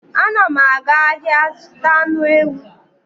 Anam aga ahia zuta anu ewu